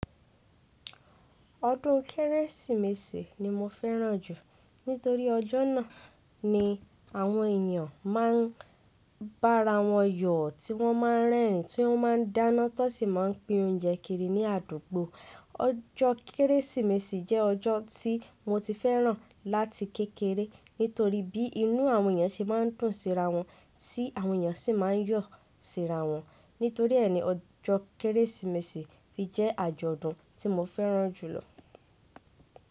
Ọdún Kérésìmesì ni mo fẹ́ràn jù nítorí ọjọ́ náà ni àwọn eeyan máa ń bára wọn yọ̀ tí wọ́n máa ń rẹ́rìn, tí wọ́n máa ń dáná, tó sì máa ń pín oúnjẹ kiri ní àdúgbò. Ọjọ́ Kérésìmesì jẹ́ ọjọ́ tí mo ti fẹ́ràn láti kékeré nítorí bí inú àwọn eeyan ṣe máa ń dùn síra wọn, tí àwọn èeyan sì máa ń yọ̀ síra wọn. Nítorí ẹ́ ni ọjọ́ Kérésìmesì fi jẹ́ àjọ̀dún tí mo fẹ́ràn jùlọ.